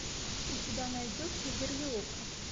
у тебя найдется верлиока